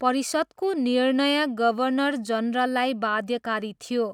परिषदको निर्णय गभर्नर जनरललाई बाध्यकारी थियो।